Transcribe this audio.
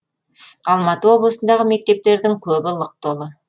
алматы облысындағы мектептердің көбі лық толы